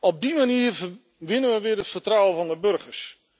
Op die manier winnen we weer het vertrouwen van de burgers.